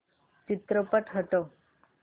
चित्रपट हटव